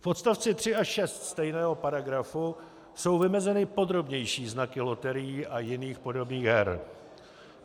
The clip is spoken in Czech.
V odst. 3 a 6 stejného paragrafu jsou vymezeny podrobnější znaky loterií a jiných podobných her.